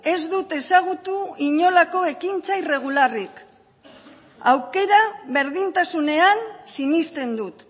ez dut ezagutu inolako ekintzak irregularrik aukera berdintasunean sinesten dut